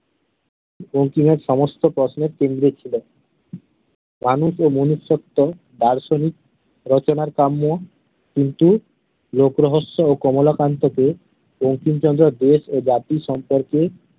বঙ্কিমের সমস্ত প্রশ্নের কেন্দ্রে ছিল রানি কে দার্শনিক রচনা কিন্তু লোক রহস্য ও কমলাকান্ত কে বঙ্কিমচন্দ্র দেশ ও জাতি সম্পর্কে